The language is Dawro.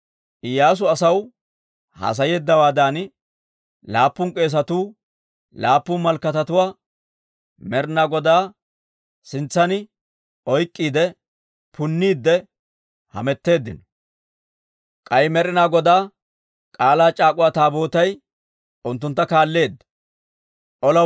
Iyyaasu asaw haasayeeddawaadan, laappun k'eesatuu laappun malakatatuwaa Med'ina Godaa sintsan oyk'k'iide, punniidde hametteeddino; k'ay Med'ina Godaa K'aalaa c'aak'uwa Taabootay unttuntta kaalleedda. Dorssaa Orggiyaa Malakataa